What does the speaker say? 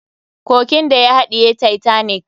Kogin da ya haɗiye titanic.